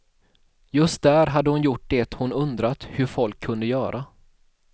Just där hade hon gjort det hon undrat hur folk kunde göra.